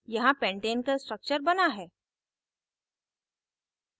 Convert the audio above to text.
यहाँ pentane का structure बना है